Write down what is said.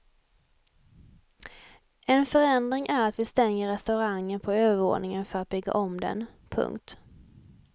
En förändring är att vi stänger restaurangen på övervåningen för att bygga om den. punkt